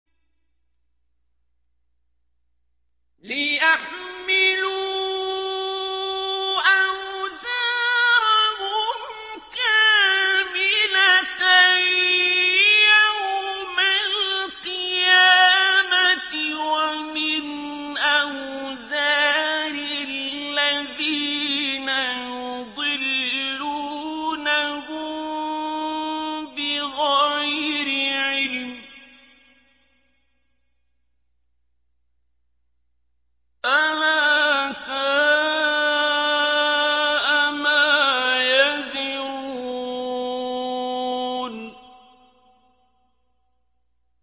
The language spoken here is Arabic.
لِيَحْمِلُوا أَوْزَارَهُمْ كَامِلَةً يَوْمَ الْقِيَامَةِ ۙ وَمِنْ أَوْزَارِ الَّذِينَ يُضِلُّونَهُم بِغَيْرِ عِلْمٍ ۗ أَلَا سَاءَ مَا يَزِرُونَ